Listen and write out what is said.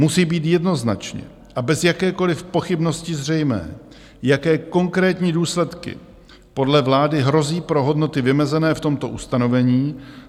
Musí být jednoznačně a bez jakékoliv pochybnosti zřejmé, jaké konkrétní důsledky podle vlády hrozí pro hodnoty vymezené v tomto ustanovení.